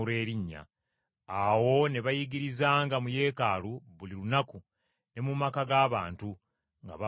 Awo ne bayigirizanga mu Yeekaalu buli lunaku ne mu maka g’abantu, nga babuulira Yesu.